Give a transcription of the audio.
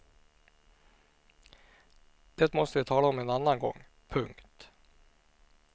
Det måste vi tala om en annan gång. punkt